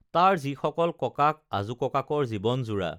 তাৰ যিসকল ককাক আজোককাকৰ জী‌ৱন জোৰা